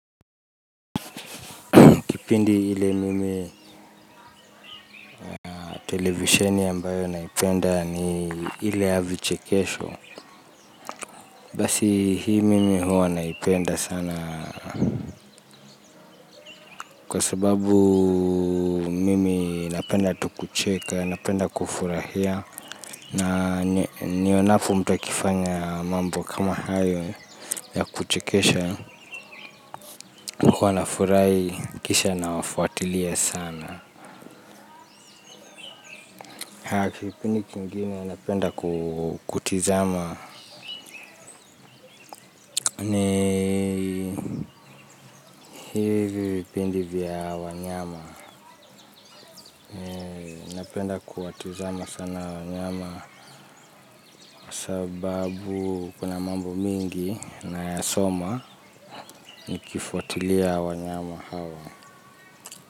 Kipindi ile mimi televisheni ambayo naipenda ni ile ya vichekesho. Basi hii mimi huwa naipenda sana. Kwa sababu mimi napenda tu kucheka, napenda kufurahia. Na nionapo mtu akifanya mambo kama hayo ya kuchekesha. Huwa nafurahi, kisha nawafuatilia sana. Kipindi kingine napenda kutizama ni hivi vipindi vya wanyama. Napenda kuwatizama sana wanyama. Sababu kuna mambo mingi nasoma nikifuatilia wanyama hawa.